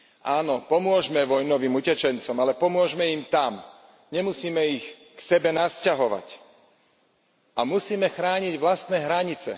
Áno, pomôžme vojnovým utečencom, ale pomôžme im tam, nemusíme ich k sebe nasťahovať a musíme chrániť vlastné hranice.